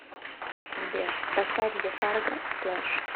сбер поставь зе фарго сплэш